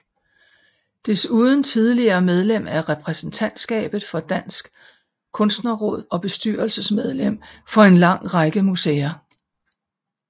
Desuden tidligere medlem af repræsentantskabet for Dansk Kunstnerråd og bestyrelsesmedlem for en lang række museer